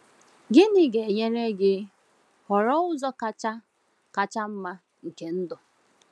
Gịnị ga-enyere gị họrọ ụzọ kacha kacha mma nke ndụ?